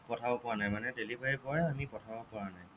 পঠাব পৰা নাই মান delivery boy আমি পঠাব পৰা নাই